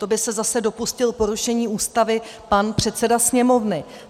To by se zase dopustil porušení Ústavy pan předseda Sněmovny.